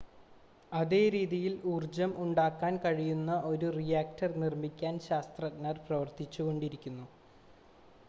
അതേ രീതിയിൽ ഊർജ്ജം ഉണ്ടാക്കാൻ കഴിയുന്ന ഒരു റിയാക്ടർ നിർമ്മിക്കാൻ ശാസ്ത്രജ്ഞർ പ്രവർത്തിച്ചു കൊണ്ടിരിക്കുന്നു